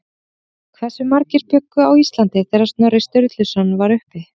Hversu margir bjuggu á Íslandi þegar Snorri Sturluson var uppi?